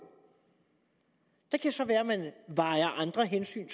det kan så være at andre hensyn